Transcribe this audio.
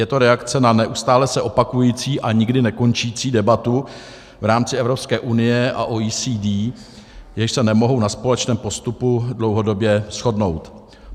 Je to reakce na neustále se opakující a nikdy nekončící debatu v rámci Evropské unie a OECD, jež se nemohou na společném postupu dlouhodobě shodnout.